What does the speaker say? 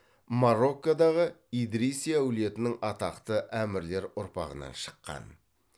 мароккодағы идриси әулетінің атақты әмірлер ұрпағынан шыққан